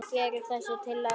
Gerir þessi tillaga það?